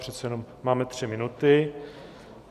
Přece jenom máme tři minuty.